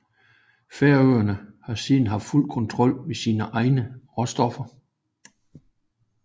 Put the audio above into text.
Færøerne har siden haft fuld kontrol med sine egne råstoffer